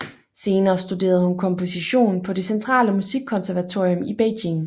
Senere studerede hun komposition på det Centrale Musikkonservatorium i Beijing